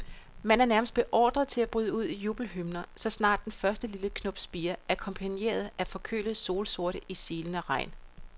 Man er nærmest beordret til at bryde ud i jubelhymner, så snart den første lille knop spirer, akkompagneret af forkølede solsorte i silende regn.